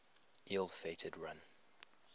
ill fated run